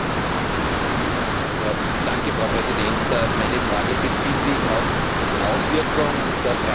Meine Frage bezieht sich auf die Auswirkung der Preisgestaltung auf die Beschäftigung in diesem Sektor.